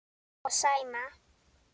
Og Sæma.